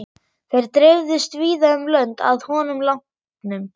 Þær dreifðust víða um lönd að honum látnum.